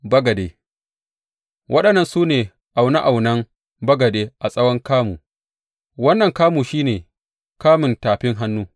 Bagade Waɗannan su ne aune aunen bagade a tsawon kamu, wannan kamu shi ne kamun tafin hannu.